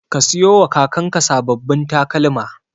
Ka siyowa kakanka sababbin takalma.